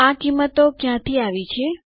આ કિંમતો ક્યાંથી આવી છે